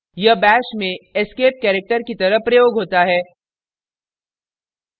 * यह bash में escape character की तरह प्रयोग होता है